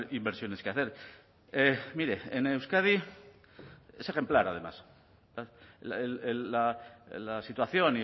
inversiones que hacer mire en euskadi es ejemplar además la situación